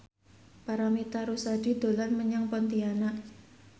Paramitha Rusady dolan menyang Pontianak